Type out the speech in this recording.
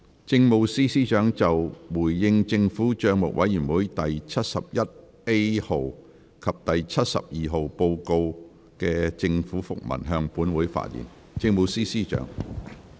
政務司司長就"回應政府帳目委員會第七十一 A 號及第七十二號報告書的政府覆文"向本會發言。